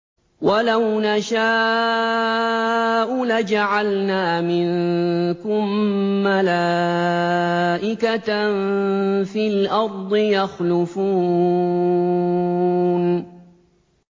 وَلَوْ نَشَاءُ لَجَعَلْنَا مِنكُم مَّلَائِكَةً فِي الْأَرْضِ يَخْلُفُونَ